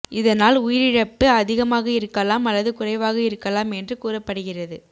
இதனால் உயிரிழப்பு அதிகமாக இருக்கலாம் அல்லது குறைவாக இருக்கலாம் என்று கூறப்படுகிறது